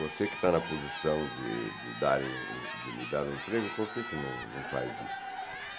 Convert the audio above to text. Você que está na posição de de dar de me dar um emprego, por que não não faz isso?